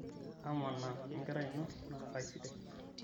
amanaa wenkerai ino nakasidai